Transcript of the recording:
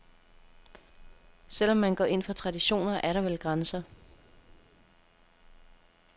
Selv om man går ind for traditioner, er der vel grænser.